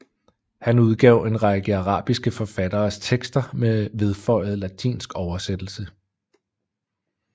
Han udgav en række arabiske forfatteres tekster med vedføjede latinsk oversættelse